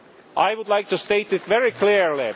I would like to state that very clearly.